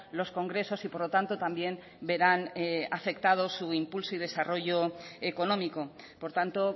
los congresos y por lo tanto también verán afectados su impulso y desarrollo económico por tanto